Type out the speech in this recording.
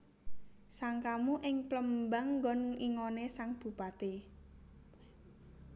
Sangkamu ing Plémbang ngon ingoné sang Bupati